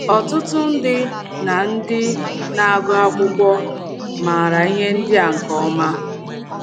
Ọtụtụ ndị na - ndị na - agụ akwụkwọ maara ihe ndị a nke ọma.